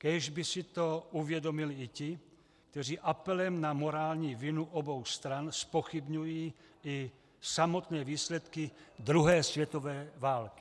Kéž by si to uvědomili i ti, kteří apelem na morální vinu obou stran zpochybňují i samotné výsledky druhé světové války.